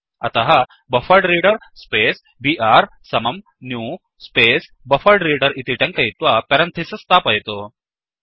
अतः buffered reader space br समं new space buffered reader इति टङ्कयित्वा पेरेन्थिसिस् स्थापयतु